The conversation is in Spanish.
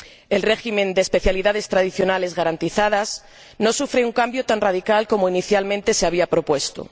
El régimen de especialidades tradicionales garantizadas no sufre un cambio tan radical como inicialmente se había propuesto.